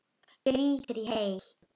Grýttir í hel.